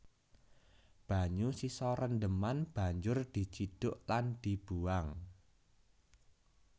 Banyu sisa rendheman banjur dicidhuk lan dibuwang